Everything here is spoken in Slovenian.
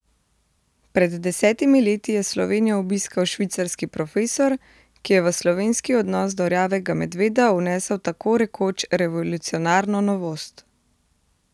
Pred desetimi leti je Slovenijo obiskal švicarski profesor, ki je v slovenski odnos do rjavega medveda vnesel tako rekoč revolucionarno novost.